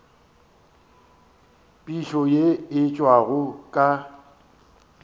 phišo ye e tšwago ka